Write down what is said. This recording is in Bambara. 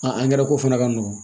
angɛrɛ ko fana ka nɔgɔn